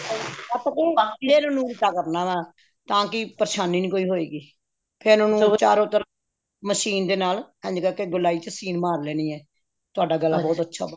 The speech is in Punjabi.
ਹਾਂ ਫ਼ੇਰ ਉਹਨੂੰ ਉਲਟਾ ਕਰ ਲੈਣਾ ਤਾਂਕਿ ਪਰੇਸ਼ਾਨੀ ਨੀ ਕੋਈ ਹੋਵੇਗੀ ਫ਼ੇਰ ਉਹਨੂੰ ਚਾਰੋਂ ਤਰਫ਼ ਮਸ਼ੀਨ ਦੇ ਨਾਲ ਇੰਝ ਕਰਕੇ ਗੋਲਾਈ ਚ ਸੀਨ ਮਾਰ ਲੈਣੀ ਹੈ ਤੁਹਾਡਾ ਗਲਾ ਬਹੁਤ ਅੱਛਾ ਬਨੇਗਾ